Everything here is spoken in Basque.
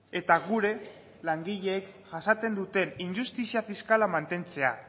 eta gure langileek jasaten duten injustizia fiskala mantentzea